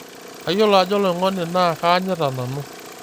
Kayiolo ajo oloing'oni naa kaanyita nanu.